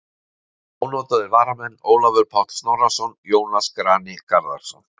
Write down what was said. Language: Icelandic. Ónotaðir varamenn: Ólafur Páll Snorrason, Jónas Grani Garðarsson.